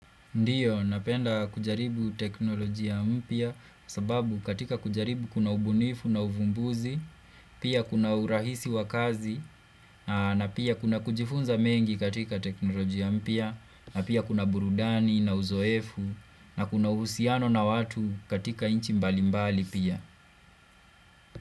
Ndiyo, napenda kujaribu teknolojia mpya sababu katika kujaribu kuna ubunifu na uvumbuzi, pia kuna urahisi wakazi, na pia kuna kujifunza mengi katika teknolojia mpya, na pia kuna burudani na uzoefu, na kuna uhusiano na watu katika nchi mbali mbali pia.